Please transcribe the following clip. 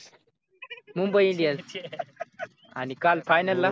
mumbai indians आणि काल final ला